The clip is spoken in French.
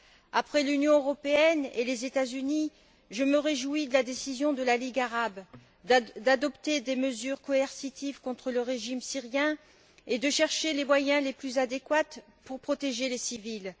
Après celles de l'Union européenne et des États Unis, je me réjouis de la décision de la Ligue arabe d'adopter des mesures coercitives contre le régime syrien et de chercher les moyens les plus adéquats pour protéger les civils.